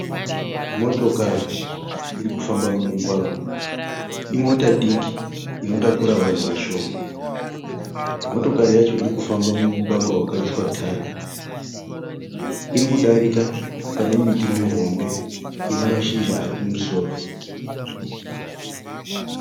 Motokari iri kufamba mumugwagwa. Imota diki inotakura vanhu vashoma. Motokari yacho iri kufamba mumugwagwa wakaiswa tara. Iri kudarika pane miti mihombe one mashizha ari kumusoro.